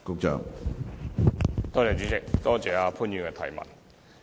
主席，多謝潘議員的提問。